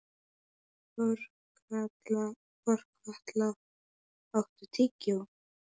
Þorkatla, áttu tyggjó?